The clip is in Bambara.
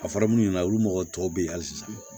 A fɔra munnu ɲɛna olu mɔgɔ tɔw bɛ yen hali sisan